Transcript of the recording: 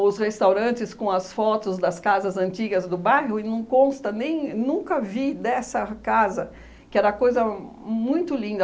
os restaurantes com as fotos das casas antigas do bairro e não consta nem nunca vi dessa casa, que era coisa muito linda.